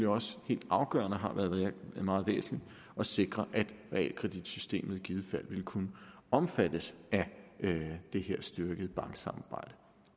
også helt afgørende og har været meget væsentligt at sikre at realkreditsystemet i givet fald ville kunne omfattes af det her styrkede banksamarbejde